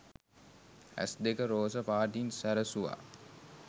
ඇස් දෙක රෝස පාටින් සැරසුවා.